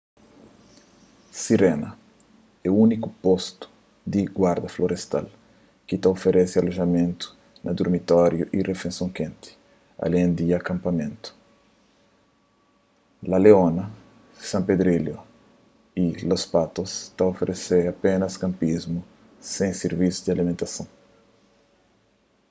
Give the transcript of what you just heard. sirena é úniku postu di guarda-florestal ki ta oferese alojamentu na durmitóriu y rifeisons kenti alén di akanpamentu la leona san pedrillo y los patos ta oferese apénas kanpismu sen sirvisu di alimentason